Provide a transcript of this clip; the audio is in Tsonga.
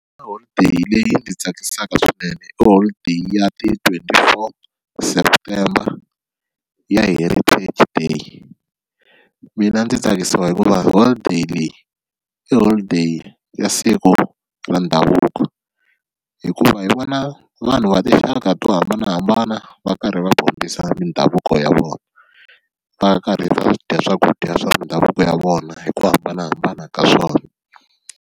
Holiday leyi ndzi tsakisaka swinene i holiday ya ti-twenty four september ya heritage day, mina ndzi tsakisiwa hikuva holiday leyi i holiday ya siku ra ndhavuko hikuva hi vona vanhu va tinxaka to hambanahambana va karhi va dyondzisa mindhavuko ya vona va karhi va dya swakudya swa mindhavuko ya vona hi ku hambanahambana ka swona.